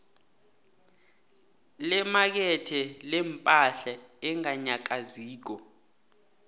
lemakethe lepahla enganyakaziko